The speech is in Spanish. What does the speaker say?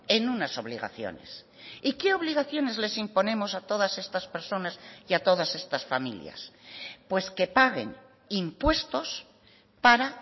en unas obligaciones y qué obligaciones les imponemos a todas estas personas y a todas estas familias pues que paguen impuestos para